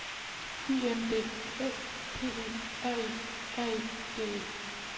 I N D O P E R E R E D E